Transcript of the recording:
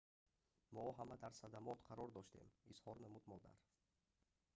мо ҳама дар садамот қарор доштем изҳор намуд модар